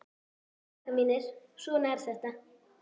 Já, krakkar mínir, svona er þetta.